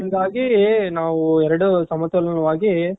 ನಾವು ಎರಡು ಸಮತೋಲನವಾಗಿ